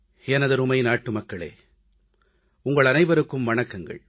எமதருமை நாட்டுமக்களே உங்கள் அனைவருக்கும் வணக்கங்கள்